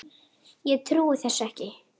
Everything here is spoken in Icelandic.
Ég trúi þessu ekki!